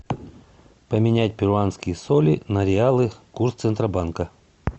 поменять перуанские соли на реалы курс центробанка